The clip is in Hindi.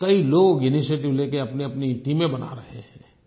कई लोग इनिशिएटिव लेकर अपनीअपनी टीमें बना रहे हैं